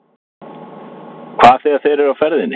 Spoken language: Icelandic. Hvað þegar þeir eru á ferðinni?